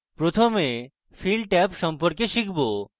প্রথমে আমরা fill tab সম্পর্কে শিখব